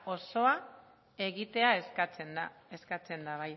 osoa egitea eskatzen da